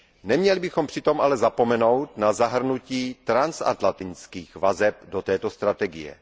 Neměli bychom přitom ale zapomenout na zahrnutí transatlantických vazeb do této strategie.